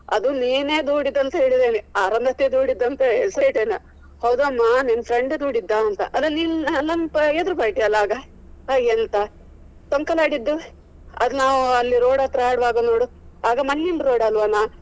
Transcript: ಅದು ನೀನೇ ದೂಡಿದ್ದು ಅಂತ ಹೇಳಿದ್ದೇನೆ ಅರುಂಧತ್ತಿ ದೂಡಿದ್ದು ಅಂತ ಹೆಸರು ಹೇಳಿದ್ದೇನೆ. ಹೌದಾ ಅಮ್ಮ ನಿನ್ನ friend ದೂಡಿದ್ದ ಅಂತ ಅದು ನೀನು ನನ್ನ ಎದುರು party ಅಲ್ಲ ಆಗ ಎಂತ ಟೊಂಕ ನಾಡಿದ್ದು ಅದು ನಾವು ಅಲ್ಲಿ road ಹತ್ರ ಆಡ್ವಾಗ ನೋಡು ಆಗ ಮಣ್ಣಿನ road ಅಲ್ವಾನಾ.